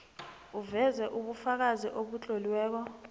uveze ubufakazi obutloliweko